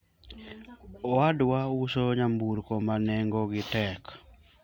owadwa uso nyamburko ma nengo gi tek